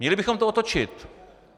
Měli bychom to otočit.